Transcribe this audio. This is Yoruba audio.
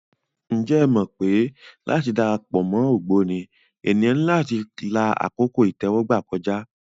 Ǹjẹ́ o mọ̀ pé láti dara pọ̀ mọ́ ògbóni, ènìyàn ní láti la àkókò ìtẹ́wọ́gbà kọjá.